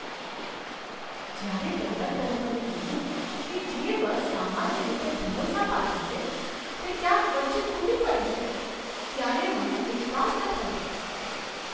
જ્યારે કંડક્ટરે મને કહ્યું કે જે બસ સામાન્ય રીતે ભરોસાપાત્ર છે તે ક્યાંય વચ્ચે તૂટી પડી છે ત્યારે મને વિશ્વાસ ન થયો!